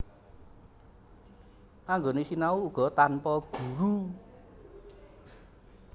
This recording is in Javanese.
Anggone sinau uga tanpa guru